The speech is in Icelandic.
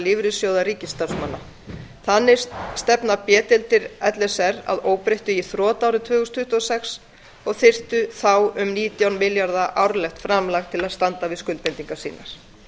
lífeyrissjóða ríkisstarfsmanna þannig stefna b deildir l s r að óbreyttu í þrot árið tvö þúsund tuttugu og sex og þyrftu þá um nítján milljarða króna árlegt framlag til að standa við skuldbindingar sínar